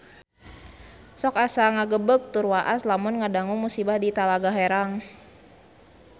Sok asa ngagebeg tur waas lamun ngadangu musibah di Talaga Herang